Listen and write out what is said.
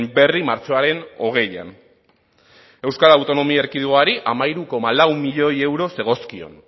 berri martxoaren hogeian euskal autonomia erkidegoari hamairu koma lau milioi euro zegozkion